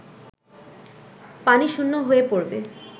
পানি শূণ্য হয়ে পড়বে